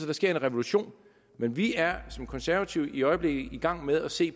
der sker en revolution men vi er som konservative i øjeblikket i gang med at se